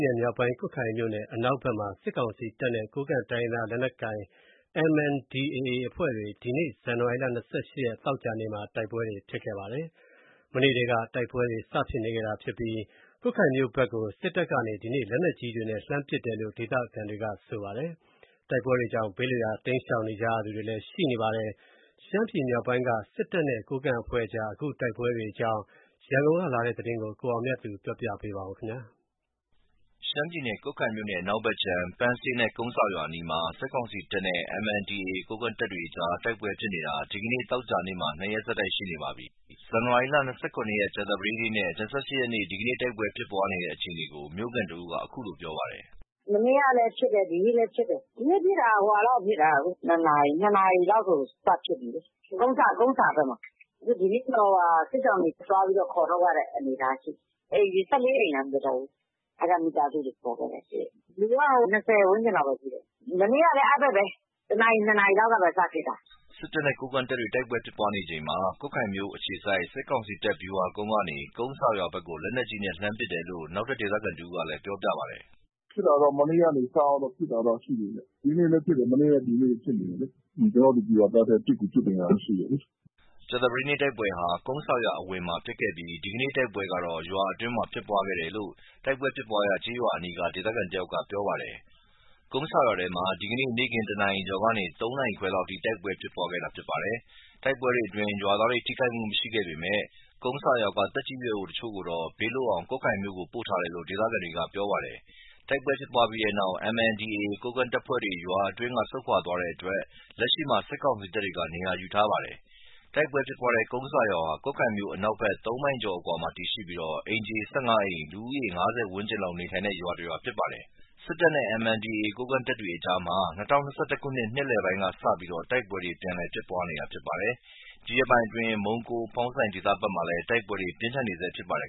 နယ်မြောက်ပိုင်း ကွတ်ခိုင်မြို့နယ် အနောက်ဘက်မှာ စစ်ကောင်စီတပ်နဲ့ ကိုးကန့်တိုင်းရင်းသားလက်နက်ကိုင် MNDAA အဖွဲ့တွေ ဒီနေ့ ဇန်နဝါရီ ၂၈ ရက် သောကြာနေ့မှာ တိုက်ပွဲတွေဖြစ်ခဲ့ပါတယ်။ မနေ့ထဲက တိုက်ပွဲတွေ စဖြစ်နေတာဖြစ်ပြီး၊ ကွတ်ခိုင်မြို့ဘက်ကို စစ်တပ်က ဒီနေ့ လက်နက်ကြီးတွေနဲ့ လှမ်းပစ်တယ်လို့ ဒေသခံတွေက ပြောပါတယ်။ တိုက်ပွဲတွေကြောင့် ဘေးလွတ်ရာ တိမ်းရှောင်နေကြရသူတွေလည်း ရှိနေပါတယ်။ ရှမ်းပြည်မြောက်ပိုင်းက စစ်တပ်နဲ့ ကိုးကန့်အဖွဲ့ကြား တိုက်ပွဲအကြောင်း ရန်ကုန်ကလာတဲ့သတင်းကို ကိုအောင်မြတ်သူ ကတင်ပြပါမယ်။ ရှမ်းပြည်နယ်၊ ကွတ်ခိုင်မြို့နယ်အနောက်ဘက်ခြမ်း ပန်းဆေးနဲ့ ကုန်းဆာရွာအနီးမှာ စစ်ကောင်စီတပ်နဲ့ MNDAA ကိုးကန့်တပ်တွေကြား တိုက်ပွဲဖြစ်နေတာ ဒီနေ့ သောကြာနေ့မှာ ၂ ရက်ဆက်တိုက်ရှိနေပါပြီ။ ဇန်နဝါရီ ၂၇ ရက် ကြာသပတေးနေ့နဲ့ ၂၈ရက်နေ့ ဒီနေ့ တိုက်ပွဲဖြစ်ပွားတဲ့အခြေအနေကို မြို့ခံတစ်ဦးက အခုလို ပြောပါတယ်။ “ မနေ့ကလည်း ဖြစ်တယ်။ ဒီနေ့လည်း ဖြစ်တယ်။ ဒီနေ့ဖြစ်တာက ၂ နာရီလောက်ဖြစ်တာ။ ၂ နာရီလောက်ဆို စဖြစ်ပြီလေ။ ကုန်းဆာ၊ ကုန်းဆာဘက်မှာ။ ဒီနေ့တော့ စစ်ရှောင်တွေ သွားပြီး ခေါ်ထုတ်ရတဲ့ အနေအထားရှိတယ်။ အိမ်ခြေ ၁၄ အိမ်လား မပြောတတ်ဘူး။ အဲဒီက မိသားစုတွေ ခေါ်ထုတ်ခဲ့တာရှိတယ်။ လူက ၂၀ ဝန်းကျင်လောက်ပဲရှိတယ်။ မနေ့ကလည်း အဲဒီဘက်ပဲ ၁ နာရီ၊ ၂ နာရီလောက်က စဖြစ်တာ။ ” စစ်တပ်နဲ့ ကိုးကန့်တပ်တွေ တိုက်ပွဲဖြစ်ပွားချိန်မှာ ကွတ်ခိုင်မြို့အခြေစိုက် စစ်ကောင်စီတပ် ဗျူဟာကုန်းကနေ ကုန်းဆာရွာဘက် လက်နက်ကြီးနဲ့ လှမ်းပစ် တယ်လို့ နောက်ဒေသခံကလည်း ပြောပြပါတယ်။ “ ဖြစ်တာကတော့ မနေ့ကနေ စပြီး ဖြစ်တာတော့ ရှိတယ်ဗျ။ ဒီနေ့လည်း ဖြစ်တယ်။ မနေ့နဲ့ ဒီနေ့ ဖြစ်တယ်လေ။ ကျနော်တို့ ဒီဗျူဟာကနေ ပစ်ကူပစ်နေတာတော့ ရှိတယ်လေ။ ” ကြာသပတေးနေ့ တိုက်ပွဲဟာ ကုန်းဆာရွာ အဝင်မှာဖြစ်ပြီး ဒီကနေ့ တိုက်ပွဲကတော့ ရွာအတွင်းမှာဖြစ်ပွားခဲ့တယ်လို့ တိုက်ပွဲဖြစ်ပွားရာကျေးရွာအနီးက ဒေသခံတယောက်က ပြောပြပါတယ်။ ကုန်းဆာရွာထဲမှာ ဒီနေ့ နေ့ခင်း ၁ နာရီကျော်ကနေ ၃ နာရီခွဲလောက်အထိ တိုက်ပွဲ ဖြစ်ပွားခဲ့တာဖြစ်ပါတယ်။ တိုက်ပွဲတွေအတွင်း ရွာသားတွေ ထိခိုက်မှု မရှိခဲ့ပေမဲ့ ကုန်းဆာရွာက သက်ကြီးရွယ်အိုအချို့ကိုတော့ ဘေးလွတ်အောင် ကွတ်ခိုင်မြို့ကို ပို့ထားတယ်လို့ ဒေသခံတွေက ပြောပါတယ်။ တိုက်ပွဲဖြစ်ပွားပြီးနောက် MNDAA ကိုးကန့်တပ်တွေ ရွာအတွင်းက ဆုတ်ခွာသွားတဲ့အတွက် လက်ရှိမှာ စစ်ကောင်စီတပ်တွေ နေရာယူထားပါတယ်။ တိုက်ပွဲဖြစ်ပွားတဲ့ ကုန်းဆာရွာဟာ ကွတ်ခိုင်မြို့အနောက်ဘက် ၃ မိုင်ကျော်အကွာမှာ တည်ရှိပြီး၊ အိမ်ခြေ ၁၅ အိမ်၊ လူဦးရေ ၅၀ ဝန်းကျင်လောက် နေထိုင်နေတဲ့ ရွာဖြစ်ပါတယ်။ စစ်တပ်နဲ့ MNDAA ကိုးကန့်တပ်အကြားမှာ ၂၀၂၁ ခုနှစ် နှစ်လည်ပိုင်းကစပြီး တိုက်ပွဲတွေ ပြန်လည်ဖြစ်နေတာပါ။ ဒီရက်ပိုင်းတွေအတွင်း မုံးကိုး၊ ဖောင်းဆိုင်ဒေသဘက်တွေမှာလည်း တိုက်ပွဲတွေ ပြင်းထန်နေဆဲဖြစ်ပါတယ်